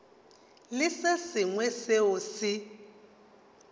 le se sengwe seo se